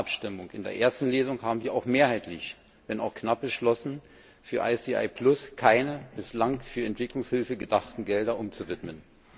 In der Plenarabstimmung in der ersten Lesung haben wir mehrheitlich wenn auch knapp beschlossen, für ICI Plus keine bislang für Entwicklungshilfe gedachten Gelder umzuwidmen.